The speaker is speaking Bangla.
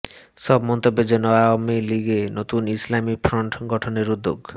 সব মন্তব্যের জন্য আওয়ামী লীগে নতুন ইসলামি ফ্রন্ট গঠনের উদ্যোগ